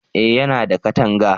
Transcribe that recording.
eh ya na da katanga